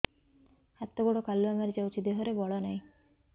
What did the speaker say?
ହାତ ଗୋଡ଼ କାଲୁଆ ମାରି ଯାଉଛି ଦେହରେ ବଳ ନାହିଁ